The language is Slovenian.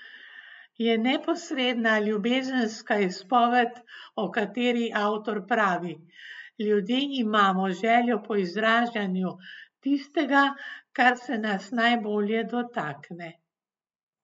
Je neposredna ljubezenska izpoved, o kateri avtor pravi: "Ljudje imamo željo po izražanju tistega, kar se nas najbolj dotakne.